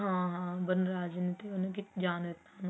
ਹਾਂ ਹਾਂ ਵਨਰਾਜ ਤੇ ਉਹਨੇ ਜਾਣ ਨੀ ਦਿੱਤਾ ਉਹਨੂੰ